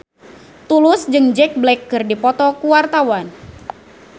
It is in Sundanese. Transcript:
Tulus jeung Jack Black keur dipoto ku wartawan